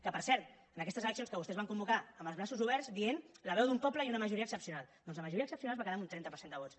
que per cert en aquestes eleccions que vostès van convocar amb els braços oberts dient la veu d’un poble i una majoria excepcional doncs la majoria excepcional es va quedar amb un trenta per cent de vots